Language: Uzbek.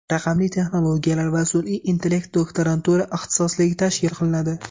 Raqamli texnologiyalar va sun’iy intellekt doktorantura ixtisosligi tashkil qilinadi.